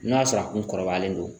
N'a sɔrɔ a kun kɔrɔbayalen don